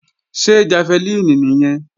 Ṣé jafẹlíìnì nìyẹn?